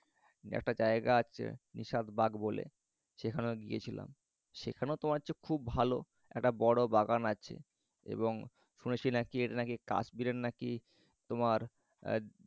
একটা জায়গা আছে নিশাদবাগ বলে। সেখানে গিয়েছিলাম। সেখাও তোমার হচ্ছে খুব ভালো একটা বড় বাগান আছে এবং তোমার সে নাকি কাশ্মিরের নাকি তোমার এর